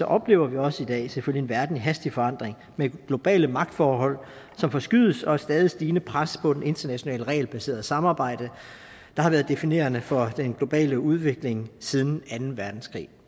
oplever vi også i dag selvfølgelig en verden i hastig forandring med globale magtforhold som forskydes og et stadig stigende pres på det internationale regelbaserede samarbejde der har været definerende for den globale udvikling siden anden verdenskrig